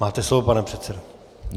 Máte slovo, pane předsedo.